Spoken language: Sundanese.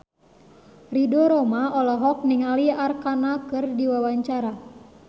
Ridho Roma olohok ningali Arkarna keur diwawancara